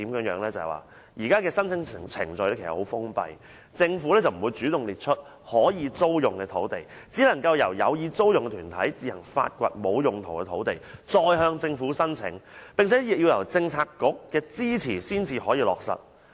現時的申請程序十分封閉，政府不會主動列出可以租用的土地，只能夠由有意租用的團體自行發掘沒有用途的土地，再向政府申請，並且要得到政策局的支持才可以落實。